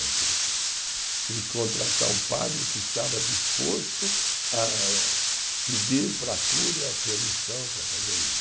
Então tive que, tive que contratar um padre que estava disposto a pedir para a cúria a permissão para fazer isso.